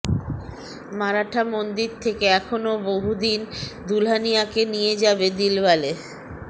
মারাঠা মন্দির থেকে এখনও বহুদিন দুলহানিয়াকে নিয়ে যাবে দিলওয়ালে